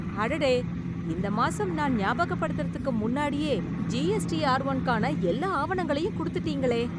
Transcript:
அடடே! இந்த மாசம் நான் ஞாபகப்படுத்துறதுக்கு முன்னாடியே ஜிஎஸ்டிஆர்- ஒன்னுக்கான எல்லா ஆவணங்களையும் குடுத்துட்டீங்களே!